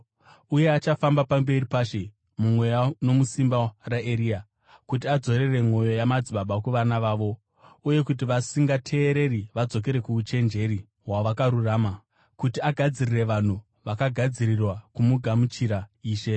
Uye achafamba pamberi paShe, mumweya nomusimba raEria, kuti adzorere mwoyo yamadzibaba kuvana vavo uye kuti vasingateereri vadzokere kuuchenjeri hwavakarurama, kuti agadzirire vanhu vakagadzirirwa kugamuchira Ishe.”